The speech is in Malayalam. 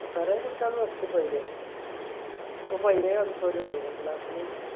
കൊറേ കുട്ടിയോൾ നിർത്തി പോയില്ലേ ഇപ്പൊ പയ്‌നേഴ്‌ ആൾകാറുള്ളു അല്ലെ class ഇൽ